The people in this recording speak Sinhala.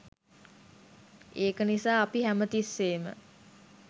ඒක නිසා අපි හැමතිස්සේම